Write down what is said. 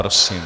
Prosím.